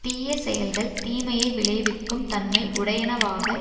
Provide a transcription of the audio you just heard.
தீயசெயல்கள் தீமையை விளைவிக்கும் தன்மை உடையனவாக